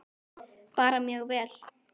Bara mjög vel.